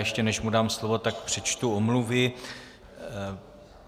Ještě než mu dám slovo, tak přečtu omluvy.